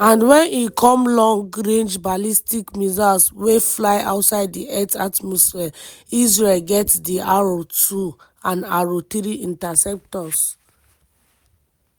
and wen e come long-range ballistic missiles wey fly outside di earth atmosphere israel get di arrow 2 and arrow 3 interceptors.